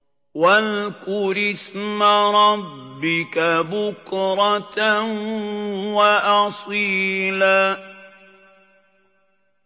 وَاذْكُرِ اسْمَ رَبِّكَ بُكْرَةً وَأَصِيلًا